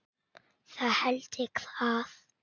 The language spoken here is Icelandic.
Það held ég að.